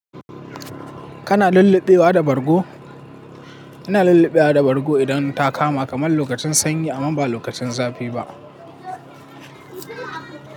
Kana lullube wa da bargo? Ina lulluɓe wa da bargo idan ta kama kamar lokacin sanyi amma ba lokacin zafi ba.